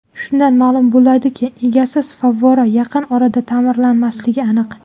Shundan ma’lum bo‘ladiki, egasiz favvora yaqin orada ta’mirlanmasligi aniq.